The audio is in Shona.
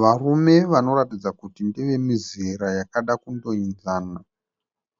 Varume vanoratidza kuti ndevemizera yakada kundoenzana.